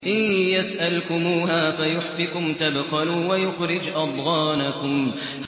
إِن يَسْأَلْكُمُوهَا فَيُحْفِكُمْ تَبْخَلُوا وَيُخْرِجْ أَضْغَانَكُمْ